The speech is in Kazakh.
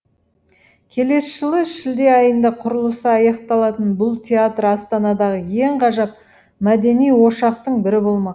келесі жылы шілде айында құрылысы аяқталатын бұл театр астанадағы ең ғажап мәдени ошақтың бірі болмақ